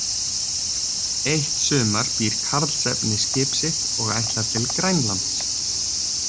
Eitt sumar býr Karlsefni skip sitt og ætlar til Grænlands.